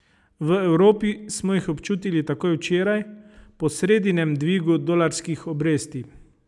V Evropi smo jih občutili takoj včeraj, po sredinem dvigu dolarskih obresti.